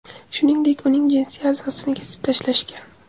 Shuningdek, uning jinsiy a’zosini kesib tashlashgan.